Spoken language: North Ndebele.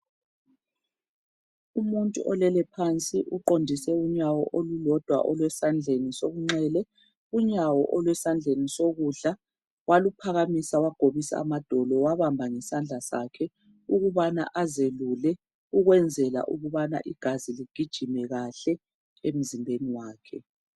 Umuntu olele phansi uqondise unyawo olulodwa olwesandleni sokunxele unyawo olwesandleni sokudla waluphakamisa wagobisa amadolo wawabamba ngesandla sakhe ukubana azelule ukwenzela ukubana igazi ligijime kahle emzimbeni wakhe.